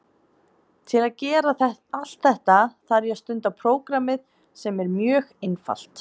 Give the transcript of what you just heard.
Til að gera allt þetta þarf ég að stunda prógrammið sem er mjög einfalt.